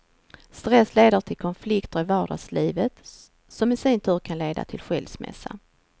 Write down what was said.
Stress leder till konflikter i vardagslivet, som i sin tur kan leda till skilsmässa.